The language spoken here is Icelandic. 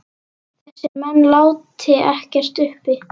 Þessir menn láti ekkert uppi.